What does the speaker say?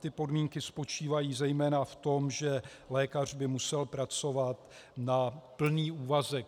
Ty podmínky spočívají zejména v tom, že lékař by musel pracovat na plný úvazek.